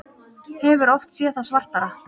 Hefur oft séð það svartara